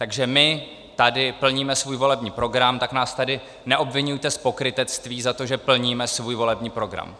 Takže my tady plníme svůj volební program, tak nás tady neobviňujte z pokrytectví za to, že plníme svůj volební program.